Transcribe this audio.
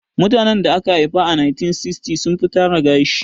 Mutanen da aka haifa a 1960s sun fi tara gashi